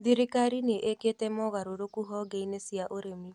Thirikari nĩ ĩkĩte mogarũrũkũ honge-inĩ cia ũrĩmi